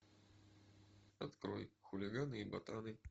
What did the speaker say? открой хулиганы и ботаны